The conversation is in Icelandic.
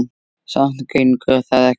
Samt gengur það ekki upp.